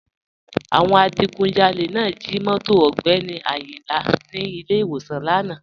Àwọn adìgùnjálẹ̀ náà jí móto Ogbeni Ayinla ní ilẹ̀ iwọ̀san lána.